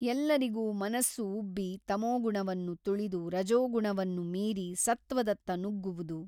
ಎಲ್ಲರಿಗೂ ಮನಸ್ಸು ಉಬ್ಬಿ ತಮೋಗುಣವನ್ನು ತುಳಿದು ರಜೋಗುಣವನ್ನು ಮೀರಿ ಸತ್ವದತ್ತ ನುಗ್ಗುವುದು.